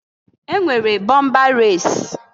E nwere bọmba resi.